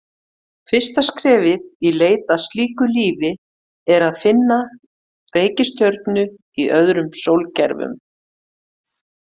Fyrsta skrefið í leit að slíku lífi er að finna reikistjörnur í öðrum sólkerfum.